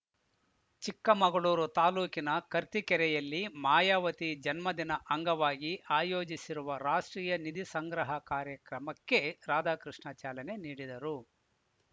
ಚಿಕ್ಕಮಗಳೂರು ತಾಲೂಕಿನ ಕರ್ತಿಕೆರೆಯಲ್ಲಿ ಮಾಯಾವತಿ ಜನ್ಮದಿನ ಅಂಗವಾಗಿ ಆಯೋಜಿಸಿರುವ ರಾಷ್ಟ್ರೀಯ ನಿಧಿ ಸಂಗ್ರಹ ಕಾರ್ಯಕ್ರಮಕ್ಕೆ ರಾಧಾಕೃಷ್ಣ ಚಾಲನೆ ನೀಡಿದರು